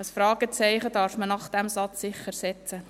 – Ein Fragezeichen darf man hinter diesen Satz bestimmt setzen.